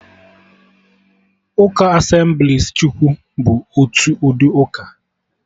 Ụka Asemblịes Chukwu bụ otu ụdị uka